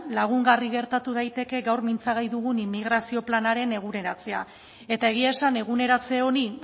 lagungarri gertatu daiteke gau mintzagai dugun immigrazio planaren eguneratzea eta egia esan eguneratze honi